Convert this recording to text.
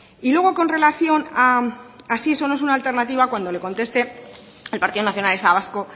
y luego con relación a si eso no es una alternativa cuando le conteste el partido nacionalista vasco